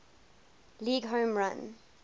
league home run